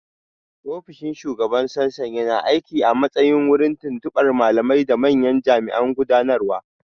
Ofishin Shugaban Sassan yana aiki a matsayin wurin tuntuɓar malamai da manyan jami'an gudanarwa.